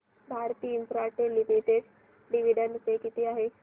Bharti Infratel limited dividend pay किती आहे